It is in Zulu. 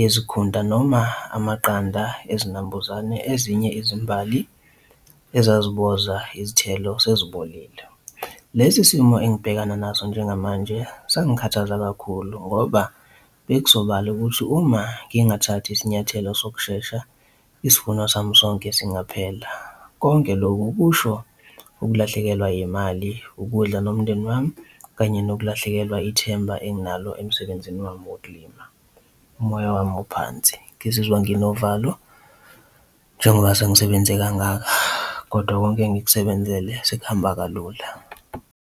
yezikhunta noma amaqanda ezinambuzane, ezinye izimbali ezaziboza izithelo sezibolile. Lesi simo engibhekana naso njengamanje sangikhathaza kakhulu ngoba sekuzobala ukuthi uma ngingathathi isinyathelo sokushesha isivuno sami sonke singaphela. Konke lokhu kusho ukulahlekelwa imali, ukudla nomndeni wami kanye nokulahlekelwa ithemba enginalo emsebenzini wami wokulima. Umoya wami uphansi ngizizwa nginovalo njengoba sengisebenze kangaka, kodwa konke engikubenzele sekuhamba kalula.